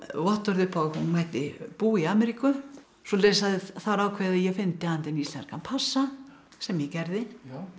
upp á að hún mætti búa í Ameríku svoleiðis að það er ákveðið að ég fyndi handa henni íslenskan passa sem ég gerði